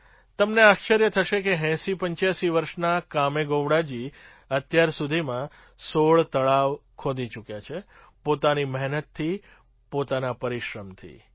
તમને આશ્ચર્ય થશે કે ૮૦૮૫ વર્ષના કામેગોવડાજી અત્યાર સુધીમાં ૧૬ તળાવ ખોદી ચૂક્યા છે પોતાની મહેનતથી પોતાના પરિશ્રમથી